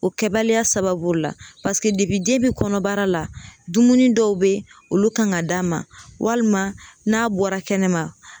O kɛbaliya sababu la den bɛ kɔnɔbara la dumuni dɔw be yen olu kan ka d'a ma walima n'a bɔra kɛnɛma